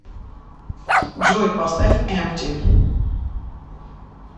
джой поставь эмпти